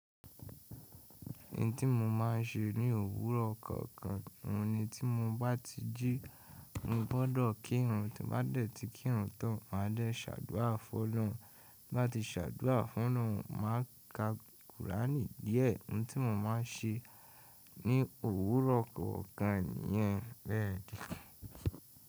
Ohun tí mo máa ń ṣe ní òwúrọ̀ kọ̀ọ̀kan, òun ni tí mo bá ti jí, mo gbọ́dọ̀ kírun, tí bá dẹ̀ tí kírun tan, máa dẹ̀ ṣàdúrà fún òlórun. Bí bá ti ṣàdúrà fún òlórun, màá ka qùráínì díẹ̀. Ohun tí mo máa ń ṣe ní òwúrọ̀ kọ̀ọ̀kan nìyẹn bẹ́ẹ̀ ni.